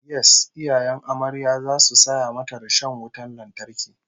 Yes, iyayen amaryar zasu saya mata rishon wutan lantarki